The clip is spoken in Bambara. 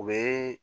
U bɛ